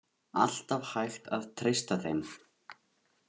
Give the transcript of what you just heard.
Alltaf hægt að treysta þeim.